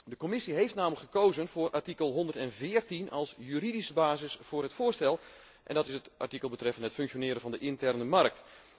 De Commissie heeft namelijk gekozen voor artikel 114 als juridische basis voor het voorstel en dat is het artikel betreffende het functioneren van de interne markt.